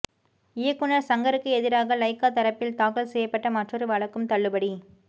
இயக்குநர் சங்கருக்கு எதிராக லைகா தரப்பில் தாக்கல் செய்யப்பட்ட மற்றொரு வழக்கும் தள்ளுபடி